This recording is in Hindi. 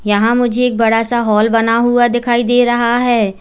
यहां मुझे एक बड़ा सा हॉल बना हुआ दिखाई दे रहा है।